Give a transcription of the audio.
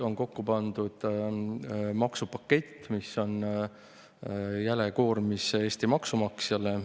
On kokku pandud maksupakett, mis on jäle koormis Eesti maksumaksjale.